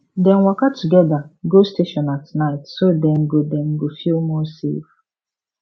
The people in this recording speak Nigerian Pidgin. dem waka together go station at night so dem go dem go feel more safe